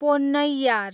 Ponnaiyar